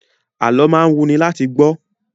Alọ́ máa ń wuni láti gbọ́